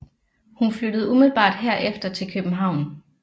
Hun flyttede umiddelbart herefter til København